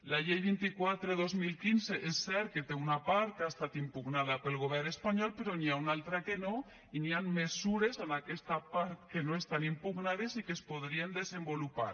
la llei vint quatre dos mil quinze és cert que té una part que ha estat impugnada pel govern espanyol però n’hi ha una altra que no i hi han mesures en aquesta part que no estan impugnades i que es podrien desenvolupar